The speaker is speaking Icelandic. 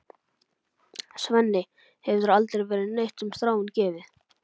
Svenni, þér hefur aldrei verið neitt um Þráin gefið.